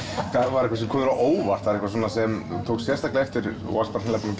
var eitthvað sem kom á óvart eitthvað sem þú varst hreinlega búinn